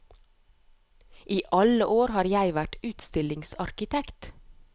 I alle år har jeg vært utstillingsarkitekt.